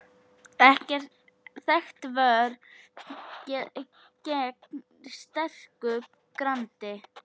Þekkt vörn gegn sterku grandi.